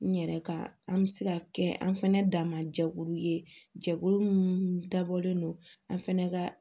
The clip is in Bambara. N yɛrɛ ka an bɛ se ka kɛ an fɛnɛ dama jɛkulu ye jɛkulu minnu dabɔlen don an fɛnɛ ka